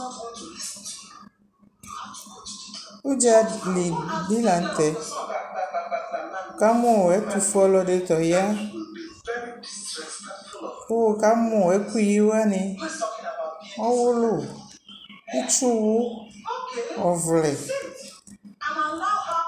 Udzali bι la nʋ tɛɛWʋ ka mʋ ɛtʋfue ɔlɔdιsʋ ɔya, kʋ wʋ ka mʋ ɛkʋ yi wanι, ɔwʋlʋ, itsuuwʋ, ɔvlɛ